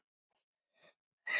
Flýta sér í burtu.